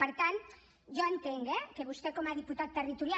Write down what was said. per tant jo entenc eh que vostè com a diputat territorial